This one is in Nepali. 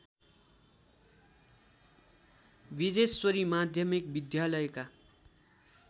विजेश्वरी माध्यमिक विद्यालयका